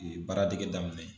Ee baara dege daminɛ.